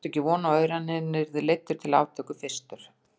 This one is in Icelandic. Hann átti ekki von á öðru en hann yrði leiddur til aftöku fyrstur.